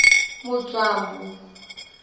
mudzwambu